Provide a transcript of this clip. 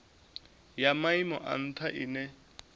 ya maimo a ntha ine